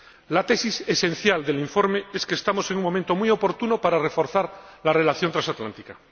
La tesis esencial del informe es que estamos en un momento muy oportuno para reforzar la relación transatlántica.